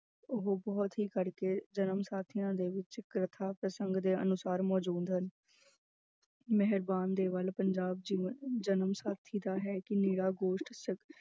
ਉਹ ਬਹੁਤ ਹੀ ਕਰਕੇ ਜਨਮ ਸਾਖੀਆਂ ਦੇ ਵਿੱਚ ਕਥਾਂ ਪ੍ਰਸੰਗ ਦੇ ਅਨੁਸਾਰ ਮੌਜੂਦ ਹਨ ਮਿਹਰਬਾਨ ਦੇ ਵੱਲ ਪੰਜਾਬ ਜਨਮਸਾਖੀ ਦਾ ਹੈ ਕਿ ਨਿਰਾ ਗੋਸ਼ਟ